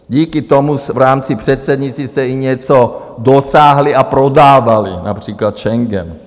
Díky tomu v rámci předsednictví jste i něco dosáhli a prodávali - například Schengen.